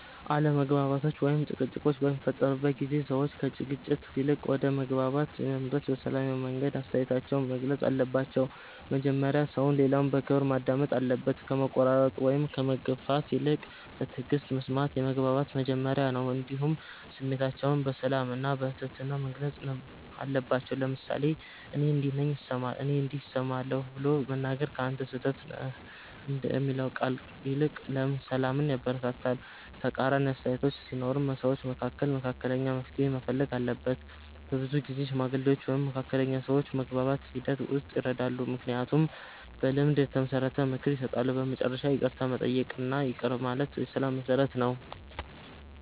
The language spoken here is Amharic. አለመግባባቶች ወይም ጭቅጭቆች በሚፈጠሩበት ጊዜ ሰዎች ከግጭት ይልቅ ወደ መግባባት ለመድረስ በሰላማዊ መንገድ አስተያየታቸውን መግለጽ አለባቸው። መጀመሪያ ሰው ሌላውን በክብር ማዳመጥ አለበት፣ ከመቆራረጥ ወይም ከመግፋት ይልቅ በትዕግስት መስማት የመግባባት መጀመሪያ ነው። እንዲሁም ስሜታቸውን በሰላም እና በትህትና መግለጽ አለባቸው፤ ለምሳሌ “እኔ እንዲህ እሰማለሁ” ብሎ መናገር ከ“አንተ ስህተት ነህ” የሚለው ቃል ይልቅ ሰላምን ያበረታታል። ተቃራኒ አስተያየቶች ሲኖሩም ሰዎች መካከል መካከለኛ መፍትሔ መፈለግ አለበት። በብዙ ጊዜ ሽማግሌዎች ወይም መካከለኛ ሰዎች በመግባባት ሂደት ውስጥ ይረዳሉ፣ ምክንያቱም በልምድ የተመሰረተ ምክር ይሰጣሉ። በመጨረሻ ይቅርታ መጠየቅ እና ይቅር ማለት የሰላም መሠረት ነው።